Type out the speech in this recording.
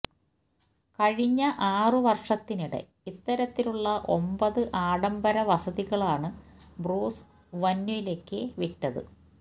കഴിഞ്ഞ ആറു വര്ഷത്തിനിടെ ഇത്തരത്തിലുള്ള ഒമ്പത് ആഡംബരവസതികളാണ് ബ്രൂസ് വന്വിലയ്ക്ക് വിറ്റത്